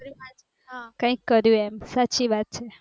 કઈંક કર્યું સાચી વાત છે